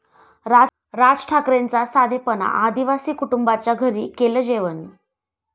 राज ठाकरेंचा साधेपणा, आदिवासी कुटुंबाच्या घरी केलं जेवण!